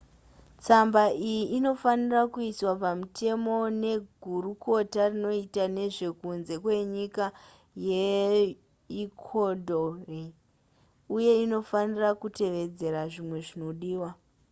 tsamba iyi inofanirwa kuiswa pamutemo negurukota rinoona nezvekunze kwenyika yeecudore uye inofanira kutevedzera zvimwe zvinodiwa